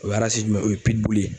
O ye arasi jumɛn ye o ye pidi bile ye